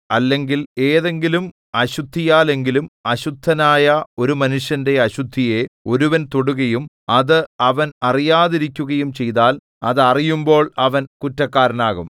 അല്ലെങ്കിൽ ഏതെങ്കിലും അശുദ്ധിയാലെങ്കിലും അശുദ്ധനായ ഒരു മനുഷ്യന്റെ അശുദ്ധിയെ ഒരുവൻ തൊടുകയും അത് അവൻ അറിയാതിരിക്കുകയും ചെയ്താൽ അത് അറിയുമ്പോൾ അവൻ കുറ്റക്കാരനാകും